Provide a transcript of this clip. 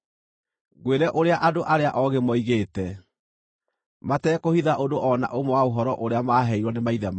ngwĩre ũrĩa andũ arĩa oogĩ moigĩte, matekũhitha ũndũ o na ũmwe wa ũhoro ũrĩa maaheirwo nĩ maithe mao,